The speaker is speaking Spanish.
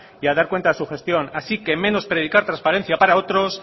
y a dar cuenta de su gestión así que menos predicar transparencia para otros